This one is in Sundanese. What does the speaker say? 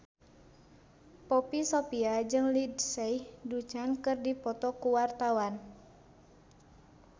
Poppy Sovia jeung Lindsay Ducan keur dipoto ku wartawan